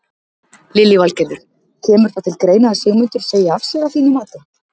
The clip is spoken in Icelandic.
Lillý Valgerður: Kemur það til greina að Sigmundur segi af sér að þínu mati?